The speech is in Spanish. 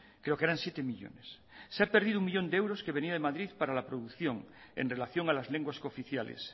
creo que eran siete millónes se ha perdido un millón de euros que venía de madrid para la producción en relación a las lenguas cooficiales